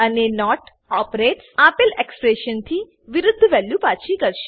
અને not operators આપલે expression થી વિરુધ વેલ્યુ પાછી કરશે